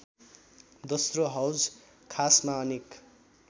दोस्रो हौजखासमा अनेक